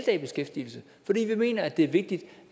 er i beskæftigelse fordi vi mener at det er vigtigt